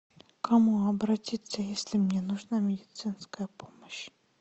к кому обратиться если мне нужна медицинская помощь